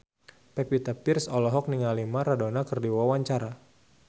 Pevita Pearce olohok ningali Maradona keur diwawancara